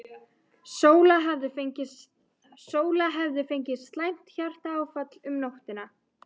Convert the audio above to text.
Sóla hefði fengið slæmt hjartaáfall um nóttina.